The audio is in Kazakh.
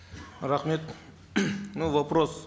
рахмет ну вопрос